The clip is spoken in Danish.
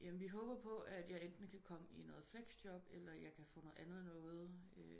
Jamen vii håber på at jeg enten kan komme i noget felxjob eller jeg kan komme i noget andet noget